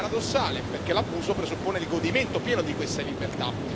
Paradossale perché l'abuso presuppone il godimento pieno di questa libertà.